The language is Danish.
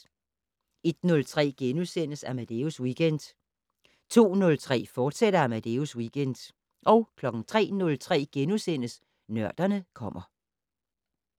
01:03: Amadeus Weekend * 02:03: Amadeus Weekend, fortsat 03:03: Nørderne kommer *